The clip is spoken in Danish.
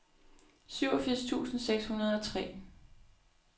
syvogfirs tusind seks hundrede og tre